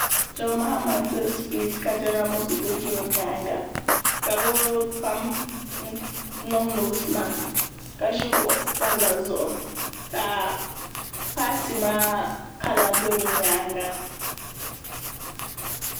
john mahama n tiri sipiich ka jɛniral moskito ʒɛ o nyaanga ka bi pam niŋ noos mask ka ʒi kuɣu sabila zuɣu ka paati maa kala bɛ bi myaanga